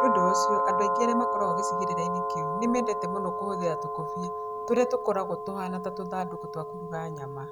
Nĩ ũndũ ũcio, andũ aingĩ arĩa maikaraga gĩcigĩrĩra-inĩ kĩu nĩ mendete mũno kũhũthĩra tũkũbia tũrĩa tũkoragwo tũhaana ta tũthandũkũ twa kũruga nyama.